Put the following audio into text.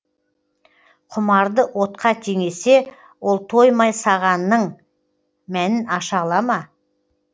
құмарды отқа теңесе ол тоймай сағанның мәнін аша ала ма